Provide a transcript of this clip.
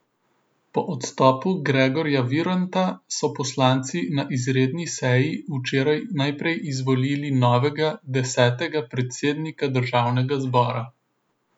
Po odstopu Gregorja Viranta so poslanci na izredni seji včeraj najprej izvolili novega, desetega predsednika državnega zbora.